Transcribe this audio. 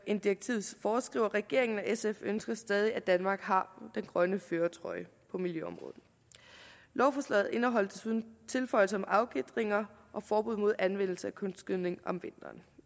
end direktivet foreskriver regeringen og sf ønsker stadig at danmark har den grønne førertrøje på miljøområdet lovforslaget indeholder desuden tilføjelser om afgitringer og forbud mod anvendelse af kunstgødning om vinteren